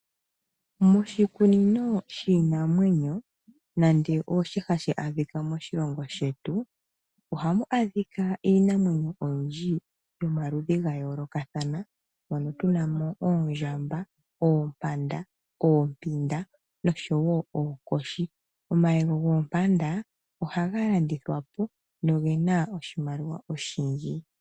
Moshikunino shiinanwenyo nande osho shika hashi adhila moshilongo shetu ohamu adhika iinamwenyo oyindji yomaludhi ga yoolokathana moo tunamo oondjamba, oompanda, oompinda noshowo oonkoshi. Omayego goompanda ohaga landithwapo nogena oshimaliwa oshindji.